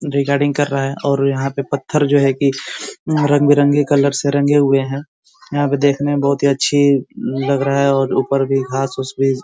recording कर रहा है और यहाँ पे पत्थर जो है कि रंग बिरंगे कलर से रंगे हुए है यहाँ पे देखने में बहुत ही अच्छी लग रहा है और ऊपर भी घास -उस भी --